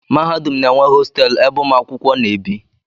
Mahadum na-enwe hostelụ ebe ụmụ akwụkwọ na-ebi.